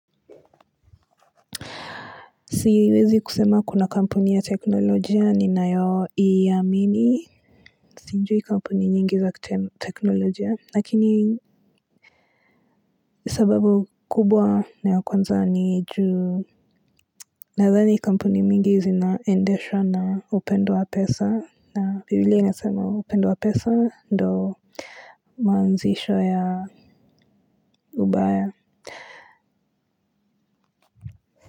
Siwezi kusema kuna kampuni ya teknolojia ninayo iamini. Sijui kampuni nyingi za teknolojia. Lakini sababu kubwa na ya kwanza ni juu. Nadhani kampuni mingi zinaendeshwa na upendo wa pesa. Na bibilia inasema upendo wa pesa ndo maanzisho ya ubaya.